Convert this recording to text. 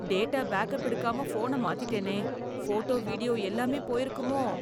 Data backup எடுக்காம போன மாத்திட்டேனே. போட்டோ, வீடியோ எல்லாமே போயிருக்குமோ!